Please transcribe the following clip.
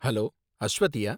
Hello, அஸ்வதியா?